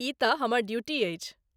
ई तँ हमर ड्यूटी अछि।